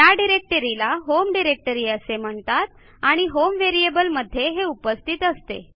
त्या डिरेक्टरीला home directory असे म्हणतात आणि होम व्हेरिएबल मध्ये हे उपस्थित असते